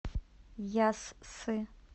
яссы